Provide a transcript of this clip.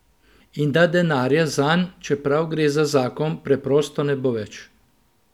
In da denarja zanj, čeprav gre za zakon, preprosto ne bo več.